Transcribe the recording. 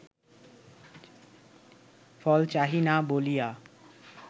ফল চাহি না বলিয়া